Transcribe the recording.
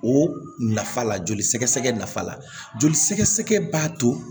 O nafa la joli sɛgɛsɛgɛ nafa la joli sɛgɛsɛgɛ b'a to